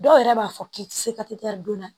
Dɔw yɛrɛ b'a fɔ k'i ti se ka don